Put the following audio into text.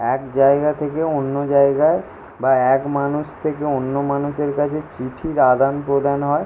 এক জায়গা থেকে অন্য জায়গায় বা এক মানুষ থেকে অন্য মানুষের কাছে চিঠির আদান প্রদান হয়।